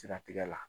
Siratigɛ la